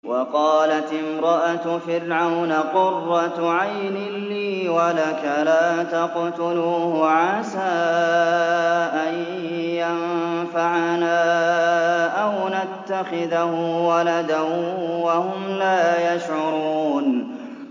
وَقَالَتِ امْرَأَتُ فِرْعَوْنَ قُرَّتُ عَيْنٍ لِّي وَلَكَ ۖ لَا تَقْتُلُوهُ عَسَىٰ أَن يَنفَعَنَا أَوْ نَتَّخِذَهُ وَلَدًا وَهُمْ لَا يَشْعُرُونَ